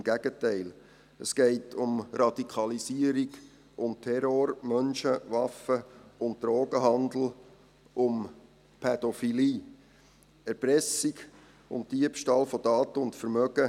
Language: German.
Im Gegenteil: Es geht um Radikalisierung, um Terror, um Menschen-, Waffen- und Drogenhandel, um Pädophilie, Erpressung, um Diebstahl von Daten und Vermögen.